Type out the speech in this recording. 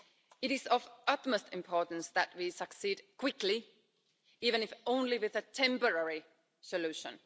It is of the utmost importance that we succeed quickly even if only with a temporary solution.